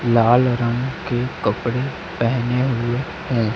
लाल रंग के कपड़े पहने हुए हैं।